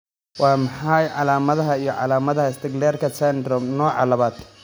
Waa maxay calaamadaha iyo calaamadaha Sticklerka syndrome, nooca labaad?